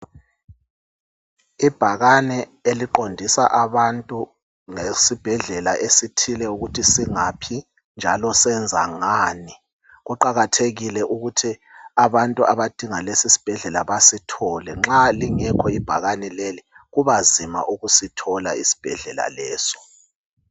Ibhakane eliqondisa abantu ngesibhedlela esithile ukuthi singaphi njalo senza ngani. Kuqakathekile ukuthi abantu abadinga lesi sibhedlela basithole. Nxa lingekho ibhakani leli kubanzima ukusithola isibhedlela leso.